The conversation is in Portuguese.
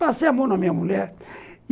Passei a mão na minha mulher.